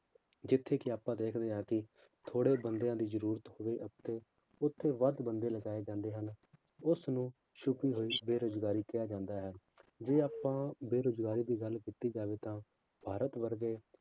ਜਿੱਥੇ ਕਿ ਆਪਾਂ ਦੇਖਦੇ ਹਾਂ ਕਿ ਥੋੜ੍ਹੇ ਬੰਦਿਆਂ ਦੀ ਜ਼ਰੂਰਤ ਹੋਵੇ ਉੱਥੇ ਉੱਥੇ ਵੱਧ ਬੰਦੇ ਲਗਾਏ ਜਾਂਦੇ ਹਨ ਉਸਨੂੰ ਛੁੱਪੀ ਹੋਈ ਬੇਰੁਜ਼ਗਾਰੀ ਕਿਹਾ ਜਾਂਦਾ ਹੈ ਜੇ ਆਪਾਂ ਬੇਰੁਜ਼ਗਾਰੀ ਦੀ ਗੱਲ ਕੀਤੀ ਜਾਵੇ ਤਾਂ ਭਾਰਤ ਭਰ ਦੇ